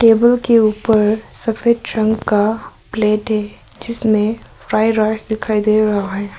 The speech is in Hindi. टेबल के ऊपर सफेद रंग का प्लेट है जिसमें फ्राइड राइस दिखाई दे रहा है।